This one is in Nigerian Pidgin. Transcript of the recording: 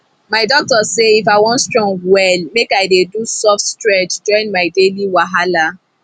my doctor say if i wan strong well make i dey do soft stretch join my daily wahala